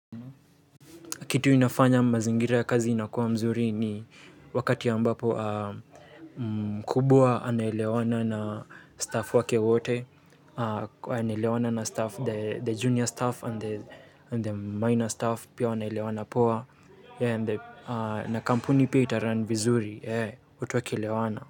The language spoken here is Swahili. Kitu inafanya mazingira ya kazi inakuwa mzuri ni, wakati ambapo mkubwa anaelewana na staff wake wote. Anaelewana na staff, the junior staff and the minor staff pia wanaelewana poa. Na kampuni pia itarun vizuri, watu wakilewana.